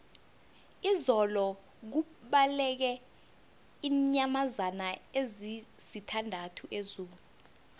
izolo kubaleke iinyamazana ezisithandathu ezoo